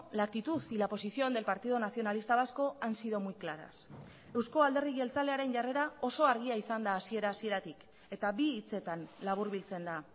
la actitud y la posición del partido nacionalista vasco han sido muy claras euzko alderdi jeltzalearen jarrera oso argia izan da hasiera hasieratik eta bi hitzetan laburbiltzen da